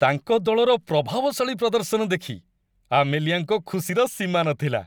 ତାଙ୍କ ଦଳର ପ୍ରଭାବଶାଳୀ ପ୍ରଦର୍ଶନ ଦେଖି ଆମେଲିଆଙ୍କ ଖୁସିର ସୀମା ନଥିଲା।